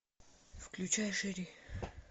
включай шери